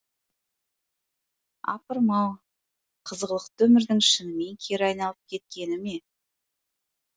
апырым ау қызғылықты өмірдің шынымен кері айналып кеткені ме